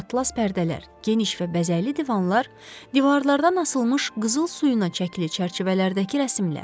Atlas pərdələr, geniş və bəzəkli divanlar, divarlardan asılmış qızıl suyuna çəkili çərçivələrdəki rəsmlər.